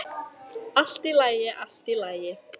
Allt í lagi, allt í lagi.